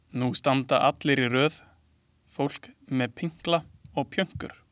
Nú standa allir í röð, fólk með pinkla og pjönkur.